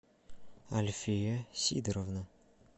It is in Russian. альфия сидоровна